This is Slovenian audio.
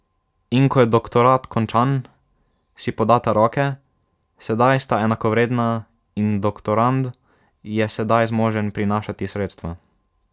In ko je doktorat končan, si podata roke, sedaj sta enakovredna, in doktorand je sedaj zmožen prinašati sredstva.